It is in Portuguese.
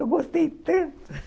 Eu gostei tanto.